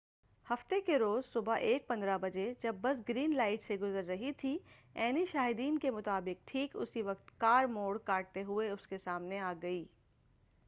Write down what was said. ہفتہ کے روز صبح 1:15 بجے جب بس گرین لائٹ سے گزر رہی تھی عینی شاہدین کے مطابق ٹھیک اسی وقت کار موڑ کاٹتے ہوئے اس کے سامنے آ گئی